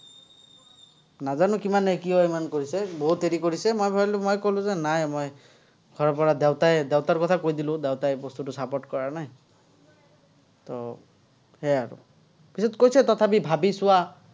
নাজানো কিমানে কিয় ইমান কৰিছে, বহুত হেৰি কৰিছে। মই ভাৱিলো, মই ক'লো যে নাই, মই, ঘৰৰপৰা দেউতাই, দেউতাৰ কথা কৈ দিলো, দেউতাই এই বস্তুটো support কৰা নাই, সেয়াই আৰু। পিচত কৈছে, তথাপি ভাৱি চোৱা।